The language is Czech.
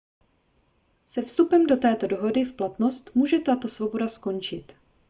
se vstupem této dohody v platnost může tato svoboda skončit